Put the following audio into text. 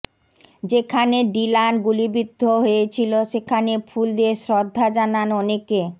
যেখানে ডিলান গুলিবিদ্ধ হয়েছিল সেখানে ফুল দিয়ে শ্রদ্ধা জানান অনেকে